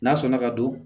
N'a sɔnna ka don